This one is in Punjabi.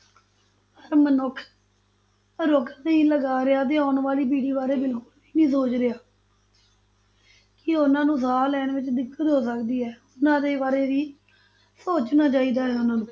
ਪਰ ਮਨੁੱਖ ਰੁੱਖ ਨਹੀਂ ਲਗਾ ਰਿਹਾ ਤੇ ਆਉਣ ਵਾਲੀ ਪੀੜ੍ਹੀ ਬਾਰੇ ਬਿਲਕੁਲ ਵੀ ਨਹੀਂ ਸੋਚ ਰਿਹਾ ਕਿ ਉਹਨਾਂ ਨੂੰ ਸਾਹ ਲੈਣ ਵਿੱਚ ਦਿੱਕਤ ਹੋ ਸਕਦੀ ਹੈ, ਉਹਨਾਂ ਦੇ ਬਾਰੇ ਵੀ ਸੋਚਣਾ ਚਾਹੀਦਾ ਹੈ ਉਹਨਾਂ ਨੂੰ